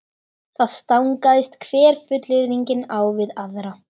Það stangaðist hver fullyrðingin á við aðra.